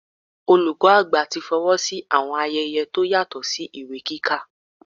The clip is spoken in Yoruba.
Olùkọ́ àgbà tí fọwọ́ sí àwọn ayẹyẹ tó yàtọ̀ sí ìwé kíkà.